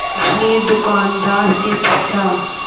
उसने दुकानदार से पूछा